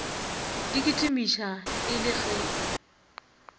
di kitimiša e le ge